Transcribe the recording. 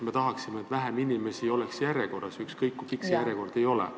Me tahaksime, et vähem inimesi oleks järjekorras, ükskõik, kui pikk see järjekord ei ole.